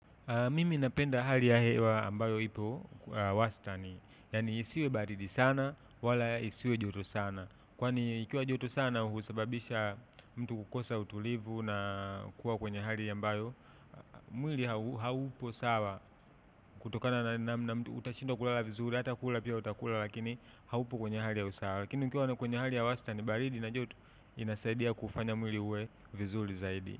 Mimi napenda hali ya hewa ambayo ipo wastani. Yani isiwe baridi sana, wala isiwe joto sana. Kwani ikiwa joto sana husababisha mtu kukosa utulivu na kuwa kwenye hali ambayo. Mwili haupo sawa kutokana na mtu utashindwa kulala vizuri, hata kula pia utakula lakini haupo kwenye hali ya usawa. Lakini ukiwa na kwenye hali ya wastani, baridi na joto inasaidia kufanya mwili uwe vizuri zaidi.